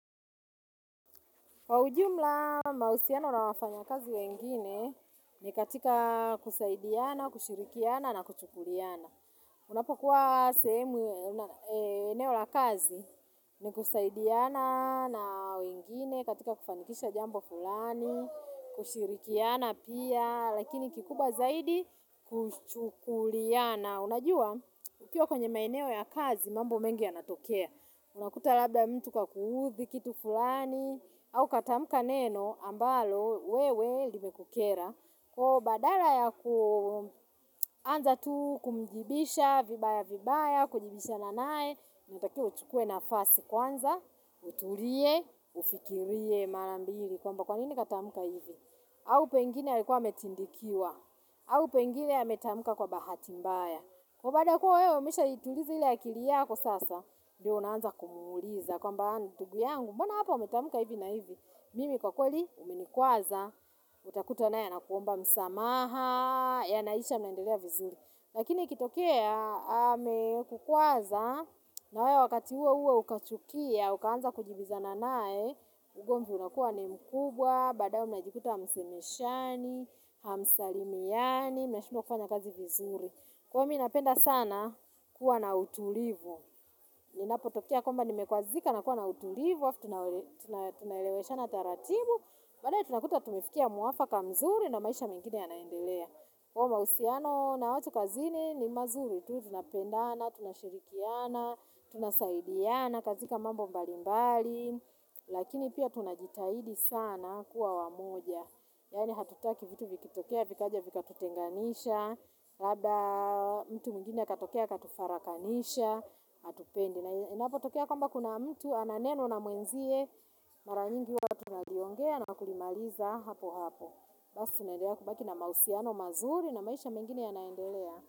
Kwa ujumla mausiana nawafanya kazi wengine ni katika kusaidiana, kushirikiana na kuchukuliana. Unapokuwa sehemu eneo la kazi ni kusaidiana na wengine katika kufanikisha jambo fulani, kushirikiana pia, lakini kikubwa zaidi kuchukuliana. Na unajua, ukiwa kwenye maeneo ya kazi, mambo mengi ya natokea. Unakuta labda mtu kakuuthi, kitu fulani, au katamuka neno ambalo wewe limekukera. Kwa badala ya kuanza tu kumjibisha vibaya-vibaya, kujibisha nanae, na utakio utukue nafasi kwanza, utulie, ufikirie marambiri. Kwa mba kwanini katamuka hivi? Au pengine ya likuwa yametindikiwa, au pengine ya metamka kwa bahati mbaya. Kwa bada kuwa wewe umesha ituliza ile akili yako sasa, ndio unaanza kumuuliza. Kwa mba aa ndugu yangu, mbona hapa umetamuka hivi na hivi. Mimi kwa kweli umenikuaza, utakuta nae anakuomba msamaha, ya naisha mnaendelea vizuri. Lakini ikitokea, ame kukuaza, na wewe wakati uouo ukachukia, ukaanza kujibiza na nae, ugomvi unakua ni mkubwa, badae mnajikuta hamsemeshani, hamsalimiani, minashindwa kufanya kazi vizuri. Kwa minapenda sana kuwa na utulivu. Inapotokea kwamba nimekwazika na kuwa na utulivu. Tunaelewesha na taratibu. Badae tunakuta tumifikia muwafaka mzuri na maisha mengine ya naendelea. Kwa mausiano na watu kazini ni mazuri. Tu tunapenda na tunashirikiana, tunasaidiana, katika mambo mbali mbali. Lakini pia tunajitahidi sana kuwa wamoja. Yani hatutaki vitu vikitokea, vikaja vika tutenganisha. Labda mtu mwingine akatokea akatufara kanisha hatupendi na inapo tokea kwamba kuna mtu ananeno na mwenzie maranyingi watu wanajiongea na kulimaliza hapo hapo basi tunaendelea kubaki na mausiano mazuri na maisha mengine ya naendelea.